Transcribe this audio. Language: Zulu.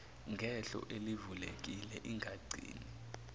ngehlo elivulekile ingagcini